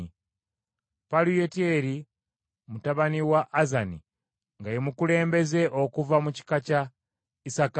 Palutiyeri mutabani wa Azani nga ye mukulembeze okuva mu kika kya Isakaali,